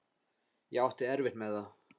Ég átti erfitt með það.